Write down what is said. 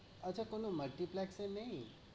আচ্ছা কোনো multiplex এ নেই?